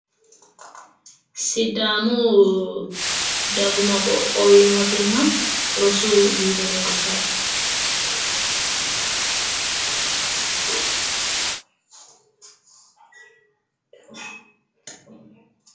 sidaamu dagoomi qoqowi mootimma rosu biiro leeltaae.